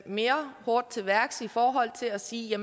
mere hårdt til værks i forhold til at sige at